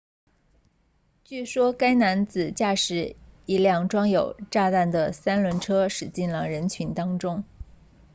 据说该男子驾驶一辆装有炸药的三轮车驶进了人群当中